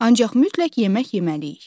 Ancaq mütləq yemək yeməliyik.